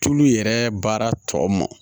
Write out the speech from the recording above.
Tulu yɛrɛ baara tɔ mɔn